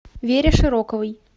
вере широковой